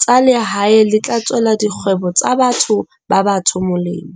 tsa lehae le tla tswela dikgwebo tsa batho ba batsho molemo.